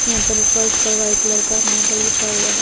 यहाँ पर ये फर्श पर व्हाइट कलर का मार्बल बिछा हुआ है।